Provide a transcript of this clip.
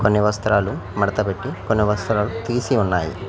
కొన్ని వస్త్రాలు మడత పెట్టి కొన్ని వస్త్రాలు తీసి ఉన్నాయి.